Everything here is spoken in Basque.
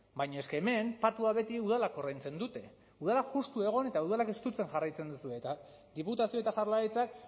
baina es que hemen patua beti udalek ordaintzen dute udalak justu egon eta udalak estutzen jarraitzen duzue eta diputazio eta jaurlaritzak